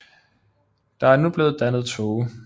Der er nu blevet dannet tåge